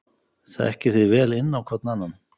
Þekkið þið vel inn á hvorn annan?